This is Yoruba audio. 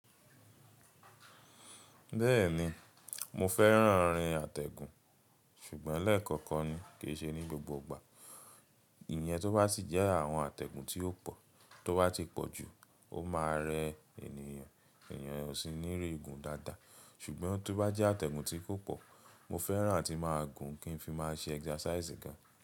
Bẹ́ẹ̀ni mo fẹ́ràn irin àtẹ̀gùn ṣùgbọ́n lẹ́ẹ̀kọ̀kan ni, kì í ṣe ní gbogbo ìgbà. Ìyẹn tó bá sì jẹ́ àwọn àtẹ̀gùn tí ó pò, tó bá ti pọ̀ jù, ó máa rẹ ènìyàn. Ènìyàn ò sí ní rí gun dáadáa. Ṣùgbọ́n tó bá jẹ́ àtẹ̀gùn tí kò pọ̀, mo fẹ́ràn tí máa gùn kí n fi máa ṣe exercise gan.